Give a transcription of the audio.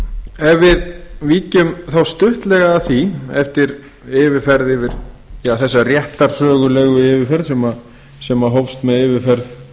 ef við víkjum þá stuttlega að því eftir þessa réttarsögulegu yfirferð sem hófst með yfirferð